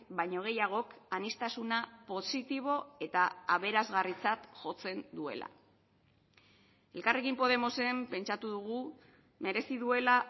baino gehiagok aniztasuna positibo eta aberasgarritzat jotzen duela elkarrekin podemosen pentsatu dugu merezi duela